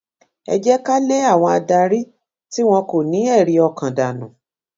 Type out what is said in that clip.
ẹ jẹ ká lé àwọn adarí tí wọn kò ní ẹrí ọkàn dànù